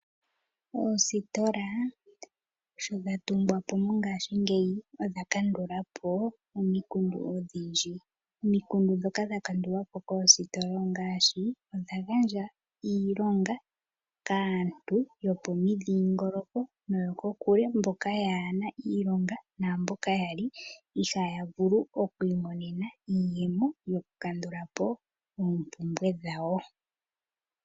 Oositola sho dha tungwa po Mongashingeyi osha kandula po omikundu odhindji, omikundu ndhoka dha kandulwa po koositola ongaashi odha gandja iilonga kaantu yopomidhingoloko noyokokule mboka yaana iilonga naamboka yali ihaaya vulu okwiimonena iiyemo yoku kandula po oompumbwe dhawo.